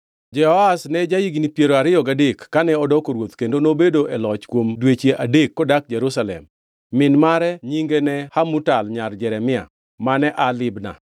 Jehoahaz ne ja-higni piero ariyo gadek kane odoko ruoth kendo nobedo e loch kuom dweche adek kodak Jerusalem. Min mare nyinge ne Hamutal nyar Jeremia; mane aa Libna.